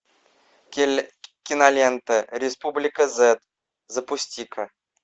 кинолента республика зет запусти ка